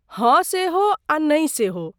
हँ सेहो आ नै सेहो।